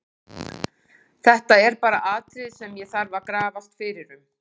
Þetta er bara atriði sem ég þarf að grafast fyrir um.